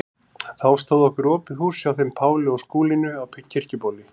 Þá stóð okkur opið hús hjá þeim Páli og Skúlínu á Kirkjubóli.